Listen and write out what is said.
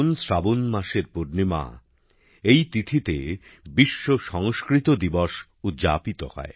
শ্রাবণ মাসের পূর্ণিমা এই তিথিতে বিশ্ব সংস্কৃত দিবস উদযাপিত হয়